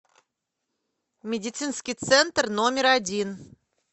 медицинский центр номер один